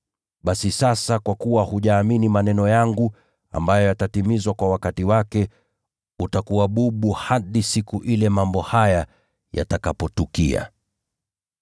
Basi sasa kwa kuwa hujaamini maneno yangu ambayo yatatimizwa kwa wakati wake, utakuwa bubu hadi siku ile mambo haya yatakapotukia.”